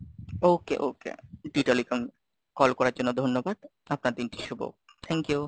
okay, okay, D Telecom, call করার জন্য ধন্যবাদ, আপনার দিনটি শুভ, thank you,